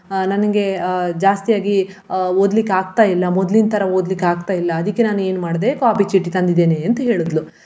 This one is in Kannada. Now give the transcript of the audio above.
ಅಹ್ ನನಗೆ ಅಹ್ ಜಾಸ್ತಿಯಾಗಿ ಅಹ್ ಓದ್ಲಿಕ್ಕಗ್ತಾ ಇಲ್ಲ ಮೊದ್ಲಿನ್ ತರ ಓದ್ಲಿಕ್ಕಗ್ತಾಇಲ್ಲ ಅದಿಕ್ಕೆ ನಾನ್ ಏನ್ ಮಾಡ್ದೆ copy ಚೀಟಿ ತಂದಿದ್ದೇನೆ ಅಂತ ಹೇಳಿದ್ಲು.